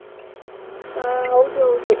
ಹ ಹೌದು ಹೌದು